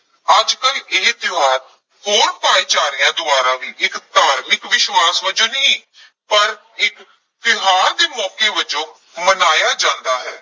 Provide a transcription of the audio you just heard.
ਅੱਜ ਕੱਲ੍ਹ ਇਹ ਤਿਉਹਾਰ ਹੋਰ ਭਾਈਚਾਰਿਆਂ ਦੁਆਰਾ ਵੀ ਇੱਕ ਧਾਰਮਿਕ ਵਿਸ਼ਵਾਸ ਵਜੋਂ ਨਹੀਂ, ਪਰ ਇੱਕ ਤਿਉਹਾਰ ਦੇ ਮੌਕੇ ਵਜੋਂ ਮਨਾਇਆ ਜਾਂਦਾ ਹੈ।